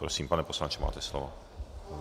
Prosím, pane poslanče, máte slovo.